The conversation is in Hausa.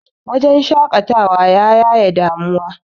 wajen shaƙatawa ya yaye damuwa